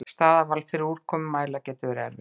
Staðarval fyrir úrkomumæla getur verið erfitt.